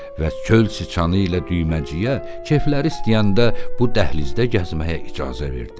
Və çöl çıçanı ilə düyməciyə kefləri istəyəndə bu dəhlizdə gəzməyə icazə verdi.